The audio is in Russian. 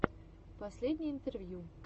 последние интервью